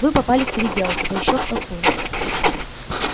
вы попали в переделку да ещё в какую